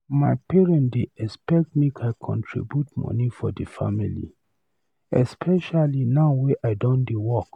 My parent dey expect make I contribute money for the family, especially now wey I done dey work.